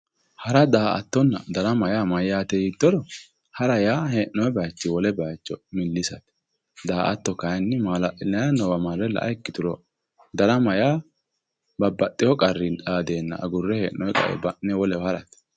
Hara, daa"attonna darama maati yiittoro ,hara yaa hee'nonni bayichini wole bayicho milisate, daa"atto kayinni mala'linanniwa marre la"a ikkituro, darama yaa babbaxxewo qarri iillenna hee'nonni gobba agurre wolewa harate.